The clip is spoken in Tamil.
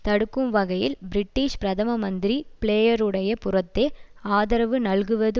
தடுக்கும் வகையில் பிரிட்டிஷ் பிரதம மந்திரி பிளேயருடைய புறத்தே ஆதரவு நல்குவது